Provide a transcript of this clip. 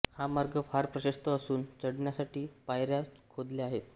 हा मार्ग फार प्रशस्त असून चढण्यासाठी पायऱ्या खोदल्या आहेत